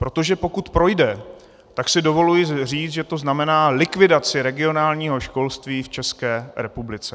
Protože pokud projde, tak si dovoluji říct, že to znamená likvidaci regionálního školství v České republice.